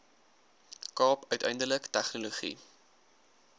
kaap uiteindelik tegnologie